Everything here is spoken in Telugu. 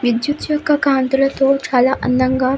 విద్యుత్ యొక్క కాంతులతో చాలా అందంగా --